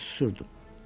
Mən susdum.